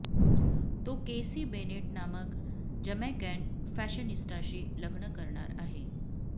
तो Casey Bennett नामक Jamaican फॅशनिस्टाशी लग्न करणार आहे